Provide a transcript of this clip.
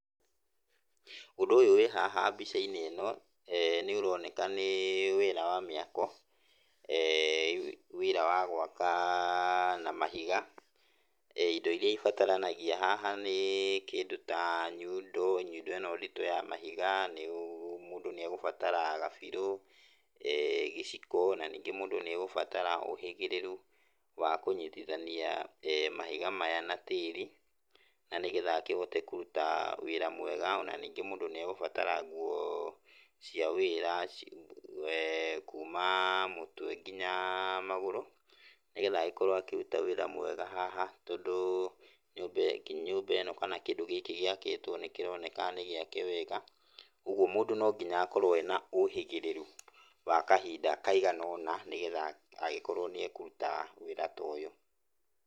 Ũndũ ũyũ wĩ haha mbica-inĩ ĩno nĩ ũroneka nĩ wĩra wa mĩako, wĩra wa gwaka na mahiga. Indo iria irabataranagia haha nĩ kĩndũ ta nyundo, nyundo ĩno nditũ ya mahiga, mũndũ nĩ egũbatara gabirũ, gĩciko, na ningĩ mũndũ nĩ egũbatara ũhĩgĩrĩru wa kũnyitithania mahiga maya na tĩri na nĩ getha akĩhote kũruta wĩra mwega, na nĩngĩ mũndũ nĩ egũbatara nguo cia wĩra kuma mũtwe nginya magũrũ, nĩ getha agĩkorwo akĩruta wĩra mwega haha tondũ nyũmba ĩno kana kĩndũ gĩkĩ gĩakĩtwo nĩ kĩroneka nĩ gĩake wega, ũguo mũndũ no nginya akorwo ena ũhĩgĩrĩru wa kahinda kaigana ũna nĩgetha agĩkorwo nĩ akũruta wĩra ta ũyũ.